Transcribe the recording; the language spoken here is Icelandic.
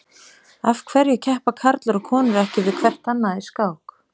Af hverju keppa karlar og konur ekki við hvert annað í skák?